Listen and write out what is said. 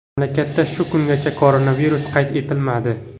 Mamlakatda shu kungacha koronavirus qayd etilmadi.